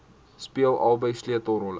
speel albei sleutelrolle